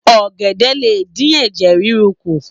ògèdè lé dín Ẹ̀jẹ̀ ríru kù.